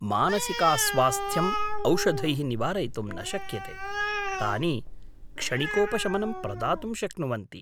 मानसिकास्वास्थ्यम् औषधैः निवारयितुं न शक्यते। तानि क्षणिकोपशमनं प्रदातुं शक्नुवन्ति।